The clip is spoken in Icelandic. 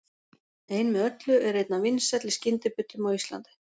Ein með öllu er einn af vinsælli skyndibitum á Íslandi.